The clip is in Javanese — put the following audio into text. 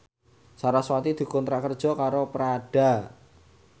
sarasvati dikontrak kerja karo Prada